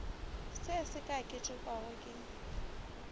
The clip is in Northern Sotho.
se se ka ketekwago ke